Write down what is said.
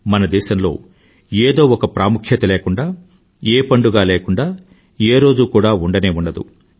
మన దేశంలో ఏదో ఒక ప్రాముఖ్యత లేకుండా ఏ పండుగా లేకుండా ఏ రోజూ కూడా ఉండనే ఉండదు